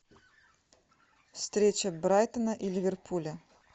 встреча брайтона и ливерпуля